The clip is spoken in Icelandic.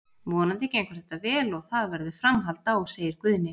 Vonandi gengur þetta vel og það verður framhald á, segir Guðni.